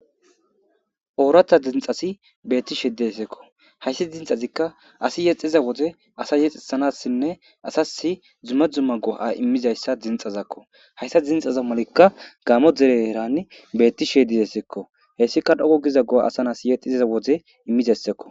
Ooratha dinxasi beetti shediessekko hayssi dinxazikka asi yexiza woze asa yexisanassinne asasi dzumma dzumma go7a immizayssa dinxazakko hayssa dinxaza malikka gaamo dere eran beetti sheedidesseekko hessika dhogo giza goa asan as yexxizza woze immizassekko